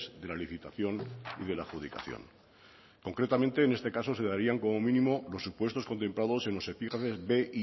de la licitación y de la adjudicación concretamente en este caso se darían como mínimo los supuestos contemplados en los epígrafes bi y e